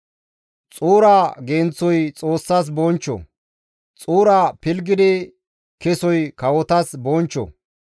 Xuura genththoy Xoossas bonchcho; xuura pilggidi kesoy kawotas bonchcho.